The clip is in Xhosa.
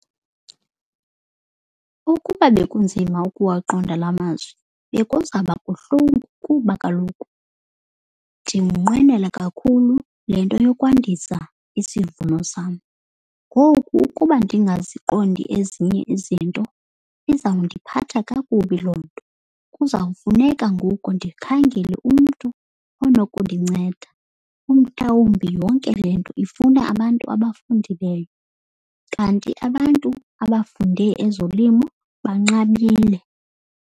Ukuba bekunzima ukuwaqonda la mazwi bekuzaba buhlungu kuba kaloku ndiwunqwenela kakhulu le nto yokwandisa isivuno sam. Ngoku ukuba ndingaziqondi ezinye izinto izawundiphatha kakubi loo nto. Kuzawufuneka ngoku ndikhangele umntu onokundinceda. Umhlawumbi yonke le nto ifuna abantu abafundileyo kanti abantu abafunde ezolimo banqabile.